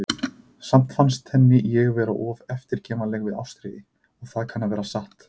Samt fannst henni ég vera of eftirgefanleg við Ástríði, og það kann að vera satt.